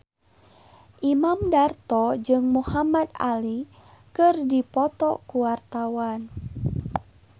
Imam Darto jeung Muhamad Ali keur dipoto ku wartawan